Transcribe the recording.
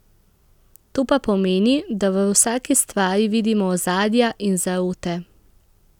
To pa pomeni, da v vsaki stvari vidimo ozadja in zarote.